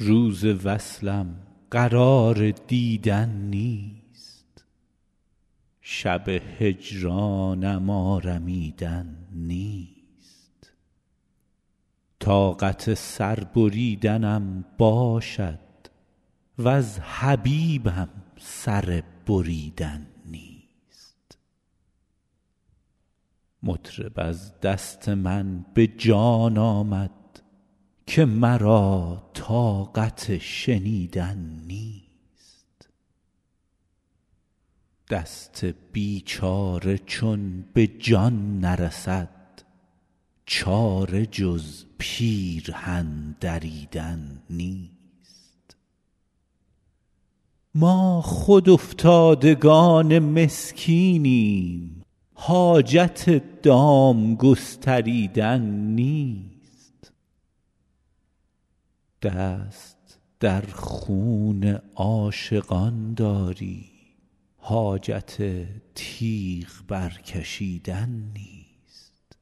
روز وصلم قرار دیدن نیست شب هجرانم آرمیدن نیست طاقت سر بریدنم باشد وز حبیبم سر بریدن نیست مطرب از دست من به جان آمد که مرا طاقت شنیدن نیست دست بیچاره چون به جان نرسد چاره جز پیرهن دریدن نیست ما خود افتادگان مسکینیم حاجت دام گستریدن نیست دست در خون عاشقان داری حاجت تیغ برکشیدن نیست